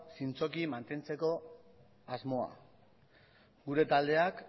zintzoki mantentzeko asmoa gure taldeak